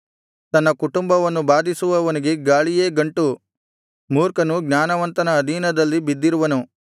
ತನ್ನ ಕುಟುಂಬವನ್ನು ಬಾಧಿಸುವವನಿಗೆ ಗಾಳಿಯೇ ಗಂಟು ಮೂರ್ಖನು ಜ್ಞಾನವಂತನ ಅಧೀನದಲ್ಲಿ ಬಿದ್ದಿರುವನು